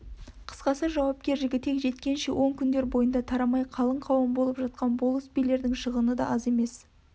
қысқасы жауапкер жігітек жеткенше он күндер бойында тарамай қалың қауым болып жатқан болыс билердің шығыны да аз емес